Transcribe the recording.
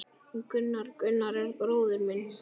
Gunnar, Gunnar er bróðir minn.